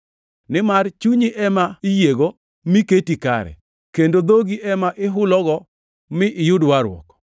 Nimar chunyi ema iyiego mi keti kare kendo dhogi ema ihulogo mi iyud warruok.